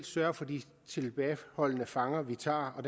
sørge for de tilbageholdte fanger vi tager og